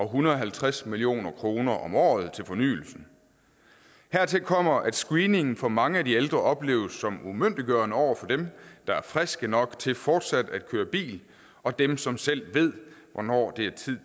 hundrede og halvtreds million kroner om året til fornyelsen hertil kommer at screeningen for mange af de ældre opleves som umyndiggørende over for dem der er friske nok til fortsat at køre bil og dem som selv ved hvornår det er tid